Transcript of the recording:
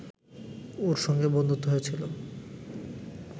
ওঁর সঙ্গে বন্ধুত্ব হয়েছিল